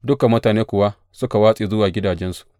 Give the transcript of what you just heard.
Dukan mutane kuwa suka watse zuwa gidajensu.